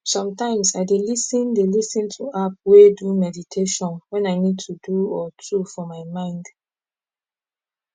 somtimes i dey lis ten dey lis ten to app wey do meditation wen i need to do or two for my mind